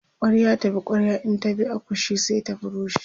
kwarya ta bi kwarya in ta bi akushe sai ta rushe